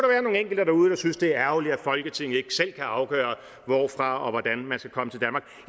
være nogle enkelte derude der synes det er ærgerligt at folketinget ikke selv kan afgøre hvorfra og hvordan man